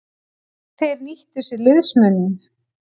Þeir nýttu sér liðsmuninn.